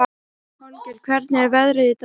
Holgeir, hvernig er veðrið í dag?